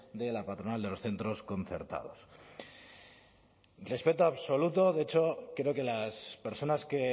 de la patronal de los centros concertados respeto absoluto de hecho creo que las personas que